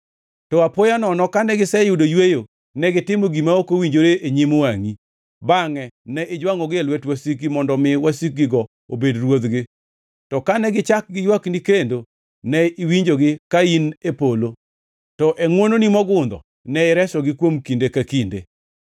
“To apoya nono kane giseyudo yweyo, negitimo gima ok owinjore e nyim wangʼi. Bangʼe ne ijwangʼogi e lwet wasikgi mondo omi wasikgigo obed ruodhgi. To kane gichak giywakni kendo ne iwinjogi ka in e polo, to e ngʼwononi mogundho ne iresogi kuom kinde ka kinde.